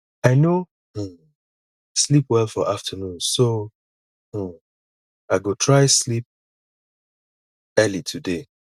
i no um sleep well for afternoon so um i go try sleep early today